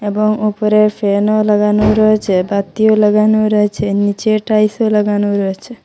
এবং ওপরে ফ্যানও লাগানো রয়েছে বাতিও লাগানো রয়েছে নীচে টাইলসও লাগানো রয়েছে।